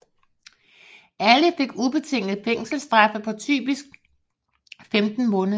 Alle fik ubetingede fængselsstraffe på typisk 15 måneder